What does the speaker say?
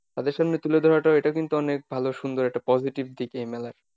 তাদের সামনে তুলে ধরাটাও এটা কিন্তু অনেক ভালো সুন্দর একটা positive দিক এই মেলার।